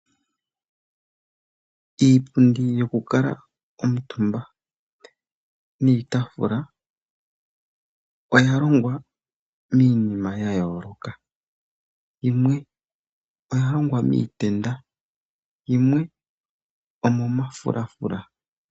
Iipundi yoku kuutumba niitaafula oya longwa miinima ya yooloka, yimwe oya longwa miitenda yimwe omo mafulafula.